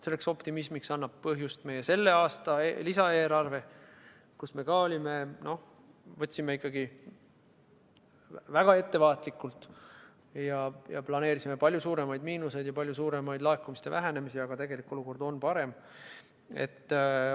Selleks optimismiks annab põhjust meie selle aasta lisaeelarve, me toimisime ikkagi väga ettevaatlikult ning planeerisime palju suuremaid miinuseid ja palju suuremaid laekumiste vähenemisi, aga tegelik olukord on parem.